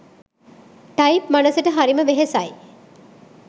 type මනසට හරිම වෙහෙසයි